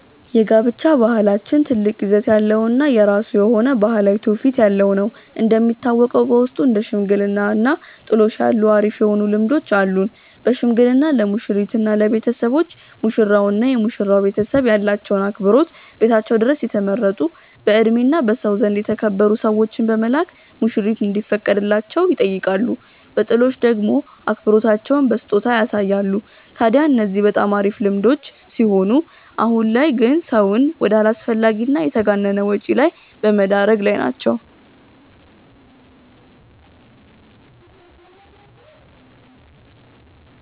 የጋብቻ ባህላችን ትልቅ ይዘት ያለው እና የራሱ የሆነ ባህላዊ ትውፊት ያለው ነው። እንደሚታወቀው በውስጡ እንደ ሽምግልና እና ጥሎሽ ያሉ አሪፍ የሆኑ ልምዶች አሉን። በሽምግልና ለሙሽሪት እና ለቤተሰቦች፤ ሙሽራው እና የመሽራው ቤተሰብ ያላቸውን አክብሮት ቤታቸው ድረስ የተመረጡ በእድሜ እና በሰው ዘንድ የተከበሩ ሰዎችን በመላክ ሙሽሪት እንዲፈቀድላቸው ይጠይቃሉ። በጥሎሽ ደሞ አክብሮታቸውን በስጦታ ያሳያሉ። ታድያ እነዚህ በጣም አሪፍ ልምዶች ሲሆኑ አሁን ላይ ግን ሰውን ወደ አላስፈላጊ እና የተጋነነ ወጪ ላይ በመደረግ ላይ ናቸው።